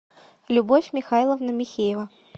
любовь михайловна михеева